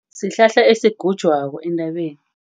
Sihlahla esigujwako, entabeni.